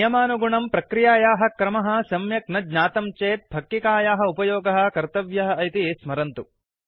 नियमानुगुणम् प्रक्रियायाः क्रमः सम्यक् न ज्ञातं चेत् फक्किकायाः उपयोगः कर्तव्यः इति स्मरन्तु